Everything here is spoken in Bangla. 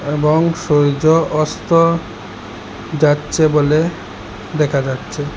এবং সূর্য অস্ত্র যাচ্ছে বলে দেখা যাচ্ছে।